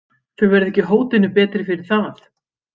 Þau verða ekki hótinu betri fyrir það.